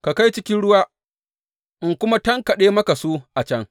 Ka kai cikin ruwa, in kuma tankaɗe maka su a can.